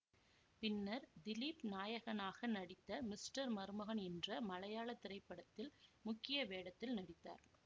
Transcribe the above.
பின்னர் திலீப் நாயகனாக நடித்த மிஸ்டர் மருமகன் என்ற மலையாள திரைப்படத்தில் முக்கிய வேடத்தில் நடித்தார்